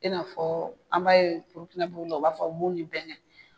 I na fɔ an b'a ye burukinabew la u b'a fɔ bon ni bɛn